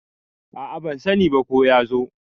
a a ban sani ba ko ya zo